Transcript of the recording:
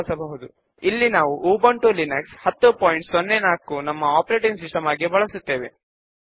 ఒకసారి మనము ఫామ్ ను డిజైన్ చేస్తే దానిని మనము అప్డేట్ చేయగలుగుతాము